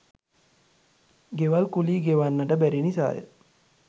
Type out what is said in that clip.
ගෙවල් කුලී ගෙවන්නට බැරි නිසාය